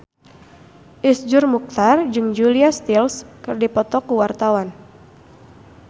Iszur Muchtar jeung Julia Stiles keur dipoto ku wartawan